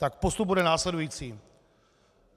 Tak postup bude následující.